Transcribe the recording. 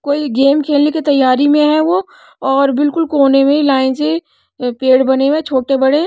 कोई गेम खेलने के तैयारी में है वो और बिल्कुल कोने में लाइन से पेड़ बने हुए है छोटे बड़े--